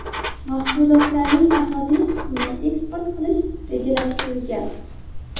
Mahsulotlarning asosiy qismini eksport qilish rejalashtirilgan.